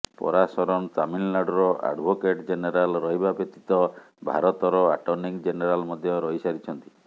ପରାସରନ୍ ତାମିଲନାଡୁର advocate general ରହିବା ବ୍ୟତୀତ ଭାରତର ଆଟର୍ଣ୍ଣିଂ ଜେନେରାଲ ମଧ୍ୟ ରହିସାରିଛନ୍ତି